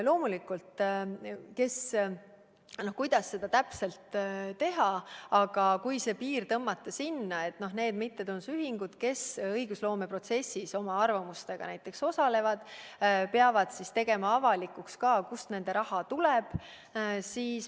Loomulikult me ei tea, kuidas seda täpselt teha, aga ehk aitab seda piiri tõmmata nõue, et need mittetulundusühingud, kes õigusloome protsessis oma arvamustega osalevad, peavad tegema avalikuks, kust nende raha tuleb.